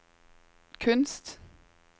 kunst